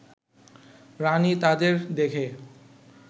রানী তাদের দেখে